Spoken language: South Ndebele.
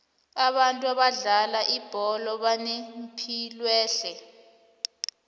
abantu abadlala ibholo banepilwehle